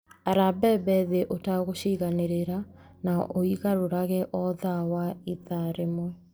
Ara mbembe thĩ ũtegũciganĩrĩra na ũigarũrage o thutha wa ithaa rĩmwe.